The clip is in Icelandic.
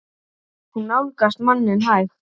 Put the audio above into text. Hún nálgast manninn hægt.